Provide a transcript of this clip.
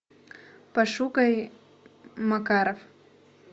пошукай макаров